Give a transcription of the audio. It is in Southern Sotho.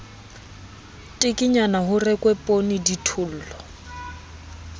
tekenyana ho rekwe poonee dithollo